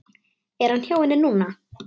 Er hann hjá henni núna?